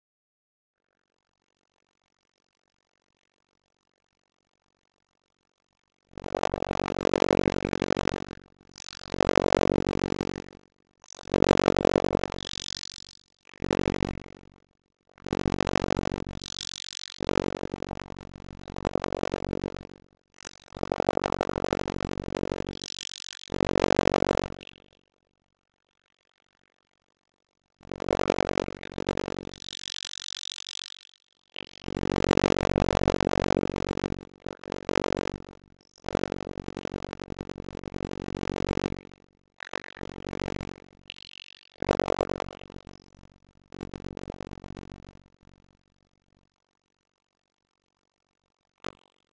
Aðrir töldu að stífnin sem hún hafði tamið sér væri skel utan um mýkri kjarna.